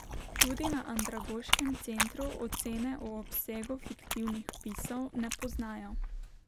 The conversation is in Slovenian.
Tudi na Andragoškem centru ocene o obsegu fiktivnih vpisov ne poznajo.